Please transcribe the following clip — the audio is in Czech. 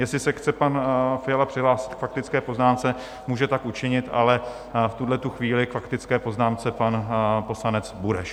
Jestli se chce pan Fiala přihlásit k faktické poznámce, může tak učinit, ale v tuhle chvíli k faktické poznámce pan poslanec Bureš.